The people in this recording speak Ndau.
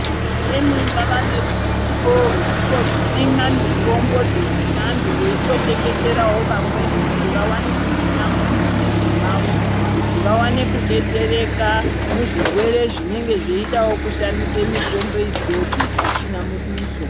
Vamweni vava neruzivo rwokutosima mitombo dzechivantu veitotengeseravo vamweni kuti vavane kusima mumamizi mavo. Kuti vavane kubetsereka muzvirere zvinenge zveidavo kushandisa mitombo idzodzo pasina muduso.